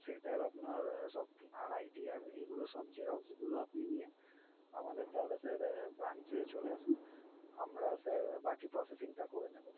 সেটার আপনার সব, আর ITR এইগুলোর সব xerox গুলো আপনি নিয়ে আমাদের তাহলে sir branch চলে আসুন, আমরা sir বাকি processing টা করে নেবো।